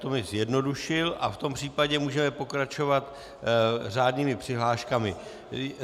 To mi zjednodušil a v tom případě můžeme pokračovat řádnými přihláškami.